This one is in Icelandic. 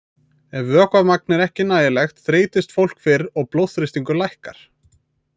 Ef vökvamagn er ekki nægilegt þreytist fólk fyrr og blóðþrýstingur lækkar.